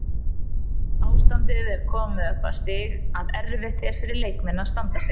Ástandið er komið á það stig að erfitt er fyrir leikmenn að standa sig.